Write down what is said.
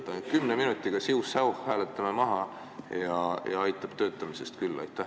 Et ainult 10 minutiga siuh-säuh hääletame maha ja aitab töötamisest küll?